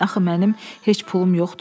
Axı mənim heç pulum yoxdur.